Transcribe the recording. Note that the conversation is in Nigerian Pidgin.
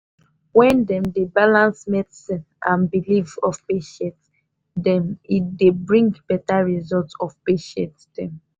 when dem dey balance medicine and belief of patients dem e dey bring better result of patient dem.